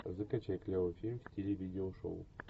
закачай клевый фильм в стиле видеошоу